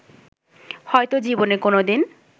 হয়তো জীবনে কোন দিন